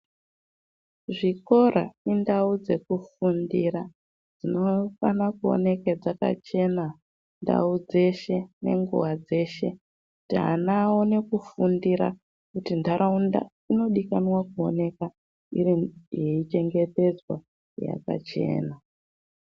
Zvikora indau dzekufundira dzinofane kuoneke dzakachena ndau dzeshe nenguwa dzeshe kuti ana aone kufundira kuti ntaraunda inodikanwa kuonekwa yeichengetedzwa yakachena.